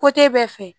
bɛɛ fɛ